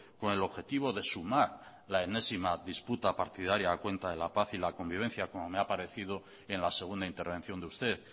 con el objetivo de sumar la enésima disputa partidaria a cuenta de la paz y la convivencia como me ha parecido en la segunda intervención de usted